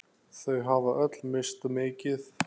Þau hafa öll misst mikið.